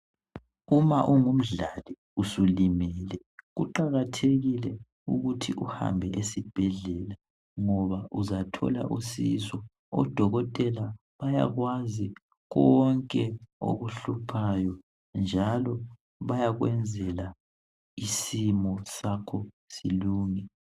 uma ungumdlali usulimele kuqakathekile ukuthi uhambe esibhedlela ngoba uzathola usizo o dokotela bayakwazi konke okuhluphayo njalo bayakwenzela isimo sakho silunge